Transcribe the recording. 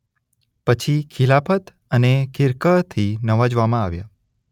પછી ખિલાફત અને ખિરકહથી નવાઝવામાં આવ્યા.